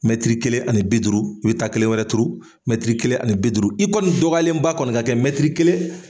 Mɛtiri kelen ani bi duuru, i bɛ taa kelen wɛrɛ turu, mɛtiri kelen ani bi duuru i kɔni dɔgɔyalen ba kɔni ka kɛ mɛtiri kelen